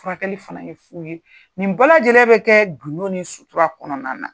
Furakɛli fana ye fu ye. Nin bɛɛ lajɛlen be kɛ gundo ni sutura kɔnɔna na.